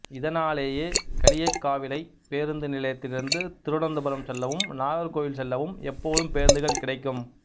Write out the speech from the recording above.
இதனாலேயே களியக்காவிளை பேருந்து நிலையத்திலிருந்து திருவனந்தபுரம் செல்லவும் நாகர்கோவில் செல்லவும் எப்போதும் பேருந்துகள் கிடைக்கும்